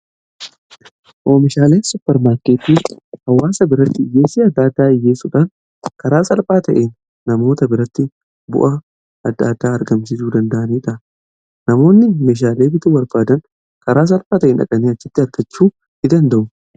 oomishaalee supper maarkeettii hawwaasa biratti dhiyyeessii adda addaa dhiyyeessuudhaan karaa salphaa ta'een namoota biratti bu'aa adda addaa argamsiisuu danda'aniidha namoonni oomishaalee bituu barbaadan karaa salphaa ta'een dhaqanii achitti argachuu ni danda'u.